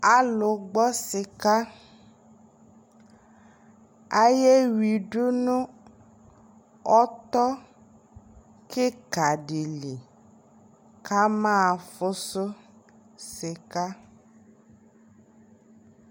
alʋ gbɔ sika ayɛ widʋ nʋ ɔtɔ kikaa dili kama fʋsʋ sika,